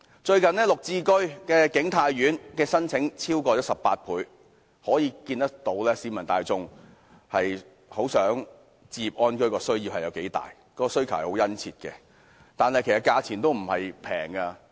最近綠置居景泰苑的申請超額18倍，可見市民大眾對置業安居的需求有多殷切，但其實該物業的價格並不低。